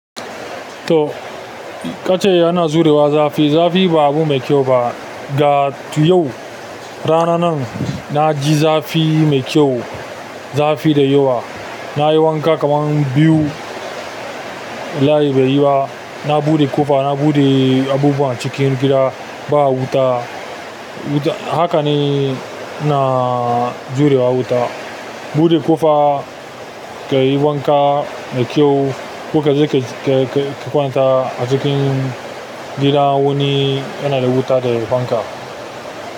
To, ka ce yana zu rewa zafi. Zafi ba abu mai kyau ba. Ga tu yau, rana nan na ji zafi mai kyau, zafi da yawa. Na yi wanka kaman biyu, layi bai yi ba. Na buɗe ƙofa, na buɗe abubuwa cikin gida, ba wuta. Wuta, haka ne ina jurewa wuta. Buɗe ƙofa, ka yi wanka mai kyau. Ko kaje ke-ke-ke kwanta a cikin gida wani yana da wuta de fanka.